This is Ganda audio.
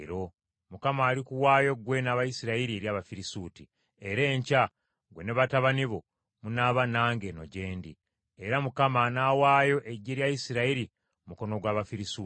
Mukama alikuwaayo gwe n’Abayisirayiri eri Abafirisuuti, era enkya ggwe ne batabani bo munaaba nange eno gye ndi. Era Mukama anaawaayo eggye lya Isirayiri mu mukono gw’Abafirisuuti.”